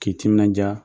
K'i timinanja